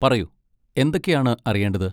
പറയൂ, എന്തൊക്കെയാണ് അറിയേണ്ടത്?